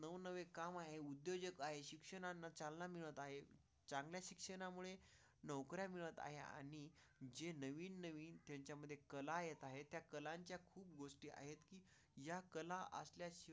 नवे काम आहे. उद्योजक आहे, शिक्षणाला चालना मिळत आहे. चांगल्या शिक्षणामुळे नोकरी मिळत आहे आणि जे नवीन त्याच्यामध्ये कला येत आहेत या कलांच्या गोष्टी आहेत या कला असल्याची.